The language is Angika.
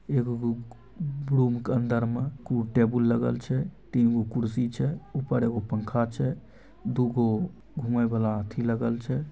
एगो के अंदर मे कु टेबुल लगल छै तीन गो कुर्सी छै ऊपर एगो पंखा छै दु गो घूमे वाला अथी छै।